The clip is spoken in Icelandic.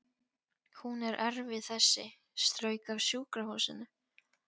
Hún er erfið þessi, strauk af sjúkrahúsinu